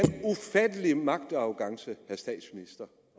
en ufattelig magtarrogance